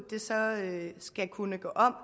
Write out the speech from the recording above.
så skal kunne gå om